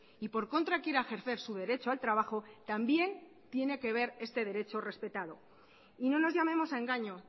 y por contra quiera ejercer su derecho al trabajo también tiene que ver este derecho respetado y no nos llamemos a engaño